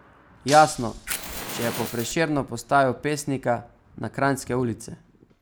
Jasno, če je pa prešerno postavil pesnika na kranjske ulice.